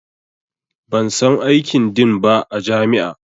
Ban san aikin Din ba a jami'a